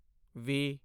ਵੀ